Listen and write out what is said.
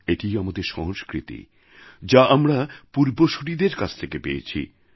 এটিই আমাদের সংস্কৃতি যা আমরা পূর্বসূরিদের কাছ থেকে পেয়েছি